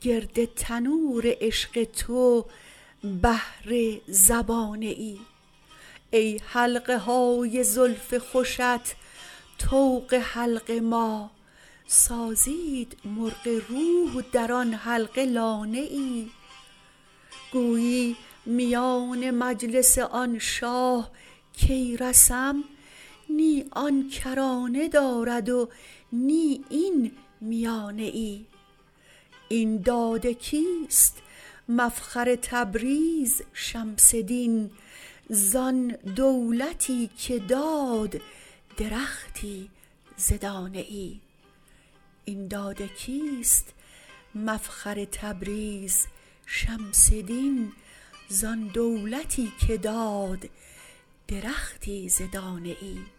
گرد تنور عشق تو بهر زبانه ای ای حلقه های زلف خوشت طوق حلق ما سازید مرغ روح در آن حلقه لانه ای گویی میان مجلس آن شاه کی رسم نی آن کرانه دارد و نی این میانه ای این داد کیست مفخر تبریز شمس دین زان دولتی که داد درختی ز دانه ای